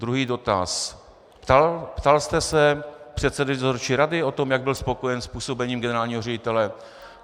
Druhý dotaz: Ptal jste se předsedy dozorčí rady na to, jak byl spokojen s působením generálního ředitele?